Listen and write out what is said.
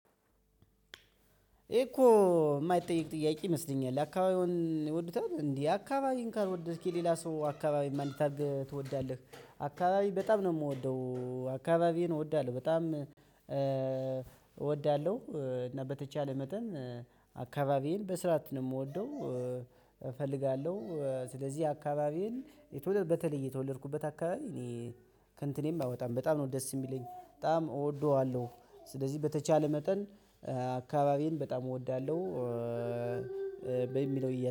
እኮ የማይጠይቅ ጥያቄ ይመስለኛል አካባቢውን ይወዱታል እንዴ አካባቤን ካልወደድክ የሌላ ሰው አካባቢ እንዴት ትወዳለህ? አካባቢ በጣም ነው የምወደው አካባቢየን እወዳለሁ በጣም እወዳለሁ እና በተቻለ መጠን። አካባቢዬን በስርዓት ነው ምወደው እፈልጋለሁ ስለዚህ አካባቤን የተወለድ በተለይ የተወለድኩበት አካባቢ እኔ ከእንትኔም አይወጣም በጣም ነው ደስ የሚለኝ በጣም እወደዋለሁ። ስለዚህ በተቻለ መጠን አካባቢዬን በጣም እወዳለሁ። በሚለው ይያዝ